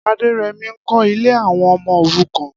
Aderemi n kọ̀ ilé awọn ọmọ órùkàn